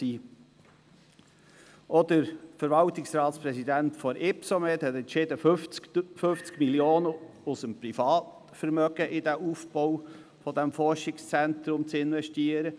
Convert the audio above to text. Auch der Verwaltungsratspräsident der Ypsomed AG hat entschieden, 50 Mio. Franken aus seinem Privatvermögen in den Aufbau dieses Forschungszentrums zu investieren.